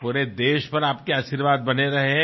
সমগ্র দেশের ওপর আপনার আশীর্বাদের হাত থাক